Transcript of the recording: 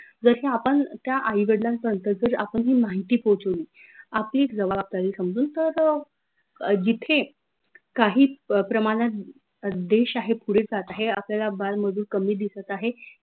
जस आपन त्या आई वडलांपर्यंत जर आपन ही माहिती पोहोचवली आपली एक जवाबदारी समजून तर जिथे काही प्रमानात देश आहे पुढे जात आहे आपल्याला बाल मजूर कमी दिसत आहे